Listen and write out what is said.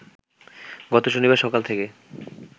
গত শনিবার সকাল থেকে